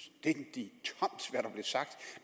det